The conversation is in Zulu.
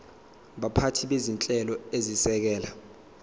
baphathi bezinhlelo ezisekela